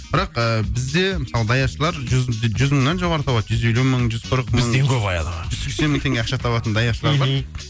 бірақ ыыы бізде мысалы даяшылар жүз жүз мыңнан жоғары табады жүз елу мың жүз қырық мың бізден көп айлық алады жүз сексен мың теңге ақша табатын даяшылар бар мхм